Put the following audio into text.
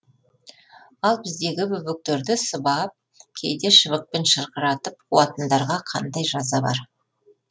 ал біздегі бөбектерді сыбап кейде шыбықпен шырқыратып қуатындарға қандай жаза бар